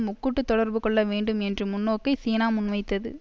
முக்கூட்டுத் தொடர்பு கொள்ளவேண்டும் என்று முன்னோக்கை சீனா முன்வைத்தது